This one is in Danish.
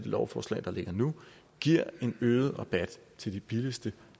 lovforslag der ligger nu giver en øget rabat til de billigste